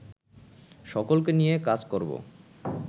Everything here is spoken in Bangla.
সকলকে নিয়ে কাজ করবো